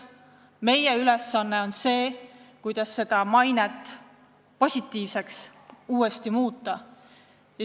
Meie ülesanne on püüda meie maine uuesti positiivseks muuta.